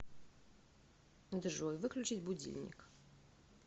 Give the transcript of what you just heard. джой выключить будильник